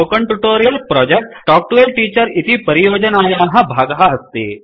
spoken tutorial project talk to a teacher इति परियोजनायाः भागः अस्ति